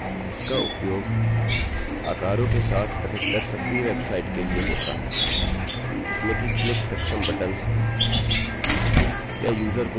gate variable variable का बहुत ही उपयोगी प्रकार है इसका उपयोग आकारों के साथ अधिकतर सक्रिय वेबसाइट के लिए होता है जिसमें की क्लिकसक्षम बटन्स हैं